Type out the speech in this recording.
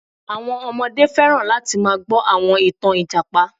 Àwọn ọmọdé fẹ́ràn láti máa gbọ àwọn ìtàn Ìjàpá